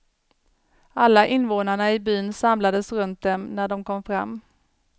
Alla invånarna i byn samlades runt dem, när de kom fram.